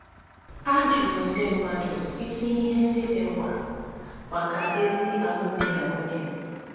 A jụrụ ndị mmadụ isi ihe ndị dị mkpa maka ezi alụmdi na nwunye.